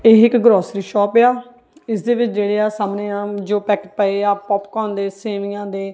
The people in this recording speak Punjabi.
ਇਹ ਇੱਕ ਗਰੋਸਰੀ ਸ਼ੌਪ ਏ ਆ ਇਸ ਦੇ ਵਿੱਚ ਜਿਹੜੇ ਆ ਸਾਹਮਣੇ ਆਹ ਜੋ ਪੈਕ ਪਏ ਆ ਪੋਪਕੋਰਨ ਦੇ ਸੇਵੀਆਂ ਦੇ--